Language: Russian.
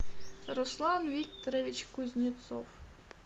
руслан викторович кузнецов